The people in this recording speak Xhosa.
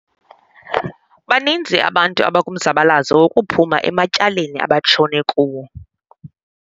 Baninzi abantu abakumzabalazo wokuphuma ematyaleni abatshone kuwo.